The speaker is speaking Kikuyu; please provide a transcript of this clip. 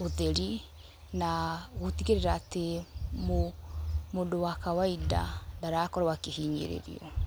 ũtheri na gũtigĩrĩra atĩ mũndũ wa kawaida ndarakorwo akĩhinyirĩrio.